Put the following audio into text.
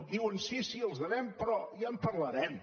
diuen sí sí els devem però ja en parlarem